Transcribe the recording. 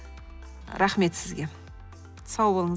рахмет сізге сау болыңыз